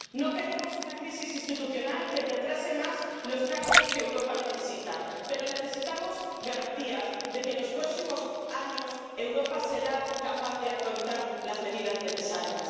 No queremos una crisis institucional que retrase más los cambios que Europa necesita. Pero necesitamos garantías de que, en los próximos años, Europa será capaz de afrontar las medidas necesarias.